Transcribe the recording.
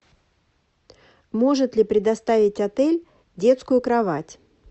может ли предоставить отель детскую кровать